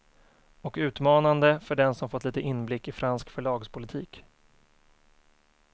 Och utmanande för den som fått lite inblick i fransk förlagspolitik.